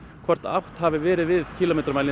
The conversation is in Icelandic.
hvort að átt hafi verið við